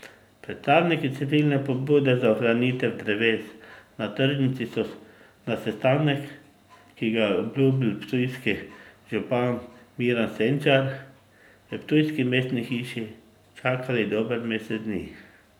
Predstavniki civilne pobude za ohranitev dreves na tržnici so na sestanek, ki ga je obljubil ptujski župan Miran Senčar v ptujski mestni hiši, čakali dober mesec dni.